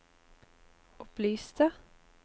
opplyste